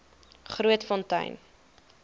grootfontein